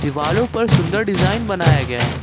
वॉलो पर सुंदर डिजाइन बनाया गया है।